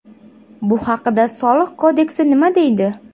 Bu haqida Soliq kodeksi nima deydi?